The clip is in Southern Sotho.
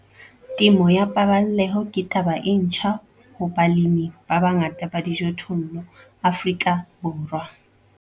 Temo ya paballeho ke taba e ntjha ho balemi ba bangata ba dijothollo Afrika Borwa.